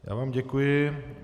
Já vám děkuji.